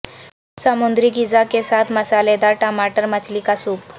سمندری غذا کے ساتھ مسالیدار ٹماٹر مچھلی کا سوپ